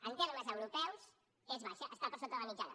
en termes europeus és baixa està per sota de la mitjana